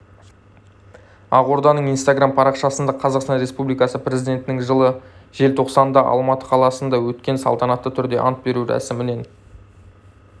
ақорданың инстаграм парақшасында қазақстан республикасы президентінің жылы желтоқсанда алматы қаласында өткен салтанатты түрде ант беру рәсімінен